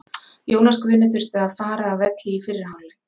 Jónas Guðni þurfti að fara af velli í fyrri hálfleik.